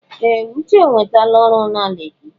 Ee! Uche enwetala ọrụ na Leki.